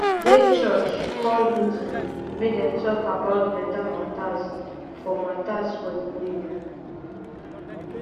dey church call meeting make them talk about better matters for matters for the area